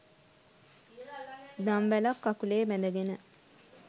දම්වැලක්‌ කකුලේ බැඳගෙන